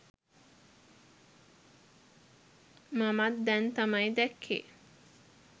මමත් දැන් තමයි දැක්කේ.